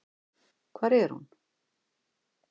Hvar er hún?